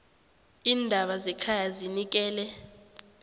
iindaba zekhaya zinikele